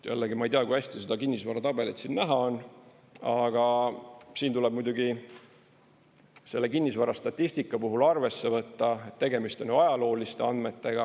Jällegi, ma ei tea, kui hästi seda kinnisvaratabelit siin näha on, aga siin tuleb muidugi selle kinnisvarastatistika puhul arvesse võtta, et tegemist on ajalooliste andmetega.